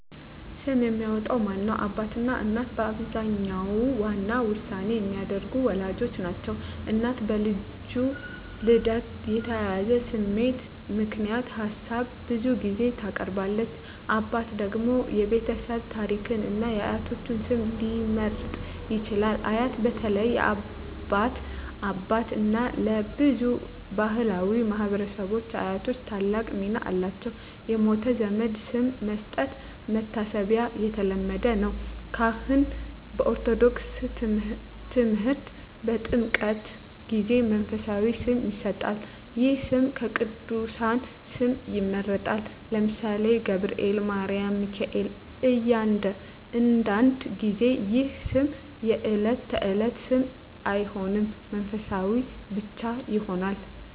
ስም የሚያወጣው ማን ነው? አባትና እናት በአብዛኛው ዋና ውሳኔ የሚያደርጉት ወላጆች ናቸው። እናት በልጁ ልደት የተያያዘ ስሜት ምክንያት ሀሳብ ብዙ ጊዜ ታቀርባለች። አባት ደግሞ የቤተሰብ ታሪክን እና የአያቶች ስም ሊመርጥ ይችላል። አያት (በተለይ የአባት አባት/እናት) በብዙ ባሕላዊ ማኅበረሰቦች አያቶች ታላቅ ሚና አላቸው። የሞተ ዘመድ ስም መስጠት (መታሰቢያ) የተለመደ ነው። ካህን (በኦርቶዶክስ ተምህርት) በጥምቀት ጊዜ መንፈሳዊ ስም ይሰጣል። ይህ ስም ከቅዱሳን ስም ይመረጣል (ለምሳሌ፦ ገብርኤል፣ ማርያም፣ ሚካኤል)። አንዳንድ ጊዜ ይህ ስም የዕለት ተዕለት ስም አይሆንም፣ መንፈሳዊ ብቻ ይሆናል።